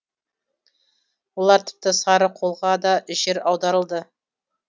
олар тіпті сарықолға да жер аударылды